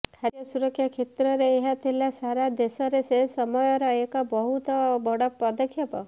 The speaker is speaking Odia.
ଖାଦ୍ୟ ସୁରକ୍ଷା କ୍ଷେତ୍ରରେ ଏହା ଥିଲା ସାରା ଦେଶରେ ସେ ସମୟର ଏକ ବହୁତ ବଡ଼ ପଦକ୍ଷେପ